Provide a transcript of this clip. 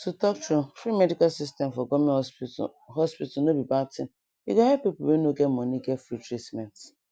to talk true free medical system for goverment hospital hospital no be bad thing e go help pipu we no get money get free treatment